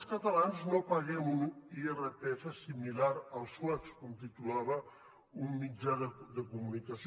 els catalans no paguem un irpf similar als suecs com titulava un mitjà de comunicació